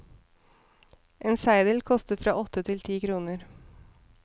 En seidel koster fra åtte til ti kroner.